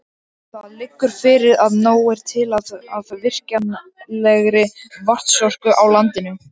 Það liggur fyrir að nóg er til af virkjanlegri vatnsorku á landinu.